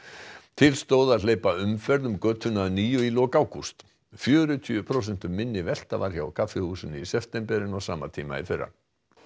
til stóð að hleypa umferð um götuna að nýju í lok ágúst fjörutíu prósentum minni velta var hjá kaffihúsinu í september en á sama tíma í fyrra